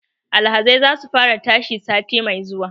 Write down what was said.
Alhazai za su fara tashi sati mai zuwa